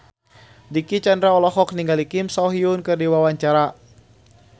Dicky Chandra olohok ningali Kim So Hyun keur diwawancara